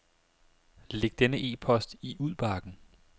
Læg denne e-post i udbakken.